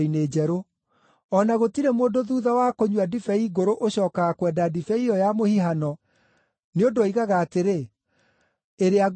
O na gũtirĩ mũndũ thuutha wa kũnyua ndibei ngũrũ ũcookaga kwenda ndibei ĩyo ya mũhihano, nĩ ũndũ oigaga atĩrĩ, ‘Ĩrĩa ngũrũ nĩyo njega.’ ”